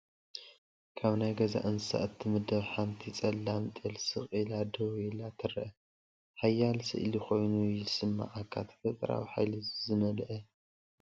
ካብ ናይ ገዛ እንስሳት እትምደብ ሓንቲ ጸላም ጤል ስቕ ኢላ ደው ኢላ ትረአ፤ ሓያል ስእሊ ኮይኑ ይስምዓካ፣ ተፈጥሮኣዊ ሓይሊ ዝመልአ እውን እዩ።